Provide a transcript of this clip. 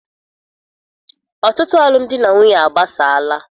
Ọtụtụ alụmdi na nwunye agbasala.